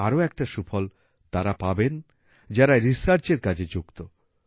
এর আরো একটা সুফল তারা পাবেন যারা রিসার্চ এর কাজে যুক্ত